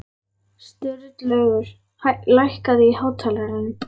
Sturlaugur, lækkaðu í hátalaranum.